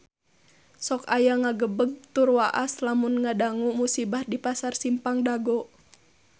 Sok asa ngagebeg tur waas lamun ngadangu musibah di Pasar Simpang Dago